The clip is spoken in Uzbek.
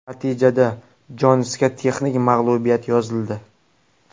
Natijada Jonsga texnik mag‘lubiyat yozildi.